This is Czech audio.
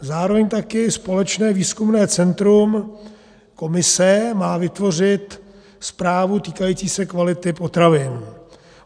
Zároveň taky společné výzkumné centrum Komise má vytvořit zprávu týkající se kvality potravin.